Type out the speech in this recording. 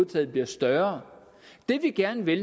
taget bliver større det vi gerne vil